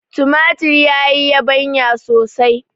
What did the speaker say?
tumatir ya yi yabanya sosai